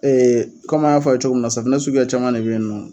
an y'a fɔ cogo min na safinɛ suguya caman de bɛ yen nɔ.